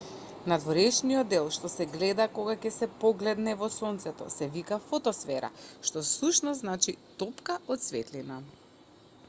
надворешниот дел што се гледа кога ќе се погледне во сонцето се вика фотосфера што всушност значи топка од светлина